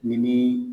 Ni